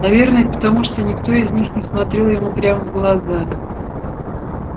наверное потому что никто из них не смотрел ему прямо в глаза